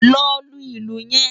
Lò lú ilú yèn